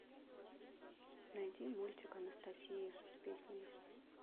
найди мультик анастасия с песнями